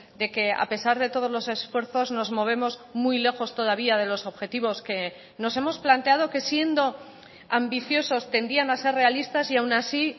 de que a pesar de todos los esfuerzos nos movemos muy lejos todavía de los objetivos que nos hemos planteado que siendo ambiciosos tendían a ser realistas y aun así